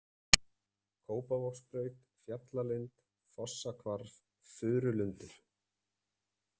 Kópavogsbraut, Fjallalind, Fossahvarf, Furulundur